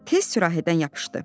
Tez sürahidən yapışdı.